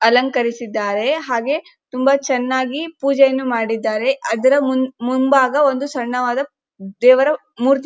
ಅಲಂಕರಿಸದ್ದರೆ ಹಾಗೆ ತುಂಬಾ ಚೆನ್ನಾಗಿ ಪೂಜೆಯನ್ನು ಮಾಡಿದ್ದಾರೆ ಅದರ ಮುಂಭಾಗ ಒಂದು ಸಣ್ಣವಾದ ದೇವರ ಮೂರ್ತಿ --